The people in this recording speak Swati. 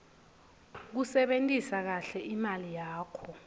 kusebentisa kahle imali yakho